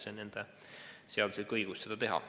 See on nende seaduslik õigus.